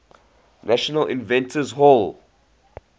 national inventors hall